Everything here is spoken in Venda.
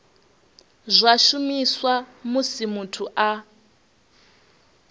zwa shumiswa musi muthu a